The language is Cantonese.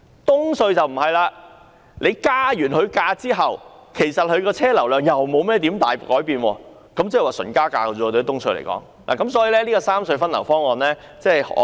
東隧則不然，增加收費後，車流量又不會有甚麼改善，所以只是純粹加價，因此，我很難支持三隧分流方案。